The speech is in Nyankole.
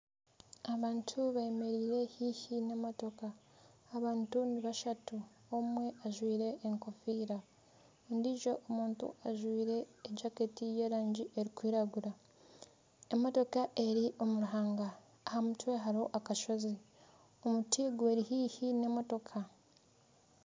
Abantu bemereire haihi n'emotoka abantu ni bashatu omwe ajwaire enkofiira ondiijo omuntu ajwaire jaketi ey'erangi erikwiragura emotoka eri omu ruhanga aha mutwe hariho akasozi omuti guri haihi n'emotoka